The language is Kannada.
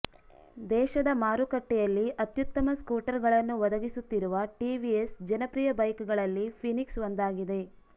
ದೇಶದ ಮಾರುಕಟ್ಟೆಯಲ್ಲಿ ಅತ್ಯುತ್ತಮ ಸ್ಕೂಟರ್ ಗಳನ್ನು ಒದಗಿಸುತ್ತಿರುವ ಟಿವಿಎಸ್ ಜನಪ್ರಿಯ ಬೈಕ್ ಗಳಲ್ಲಿ ಫಿನಿಕ್ಸ್ ಒಂದಾಗಿದೆ